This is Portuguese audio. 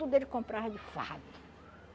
Tudo ele comprava de fardo